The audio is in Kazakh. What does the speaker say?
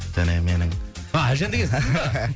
және менің а әлжан деген сіз ба